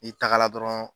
N'i tagara dɔrɔn